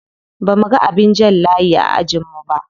Bamuga abin jan layi a ajin mu ba.